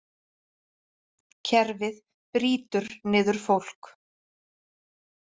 Kerfið brýtur niður fólk